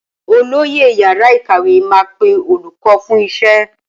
Olóyè yàrá ìkàwé máa pe olùkọ́ fún iṣẹ́